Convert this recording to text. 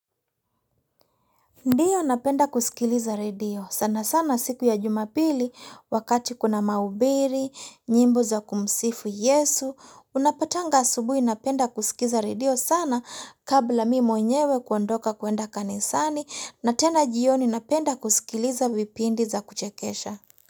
Ndiyo napenda kusikiliza redio sana sana siku ya jumapili wakati kuna mahubiri, nyimbo za kumsifu Yesu, unapatanga asubuhi napenda kusikiza redio sana kabla mimi mwenyewe kuondoka kuenda kanisani na tena jioni napenda kusikiliza vipindi za kuchekesha.